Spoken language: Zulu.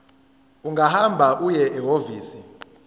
ungahamba uye ehhovisi